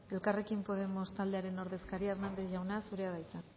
elkarrekin podemos taldearen ordezkaria hernández jauna zurea da hitza